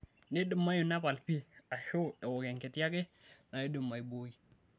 Neidimayu nepal pii aashu ewok enkiti ake naidim aibooi.